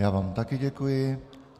Já vám také děkuji.